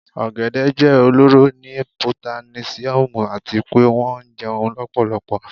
Ogede jẹ ọlọrọ ni potasiomu ati pe wọn jẹun lọpọlọpọ